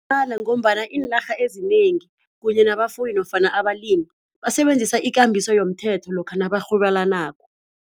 ngombana iinarha ezinengi kunye nabafuyi nofana abalimi basebenzisa ikambiso yomthetho lokha nabarhwebelanako.